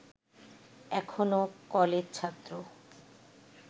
এখনো কলেজছাত্র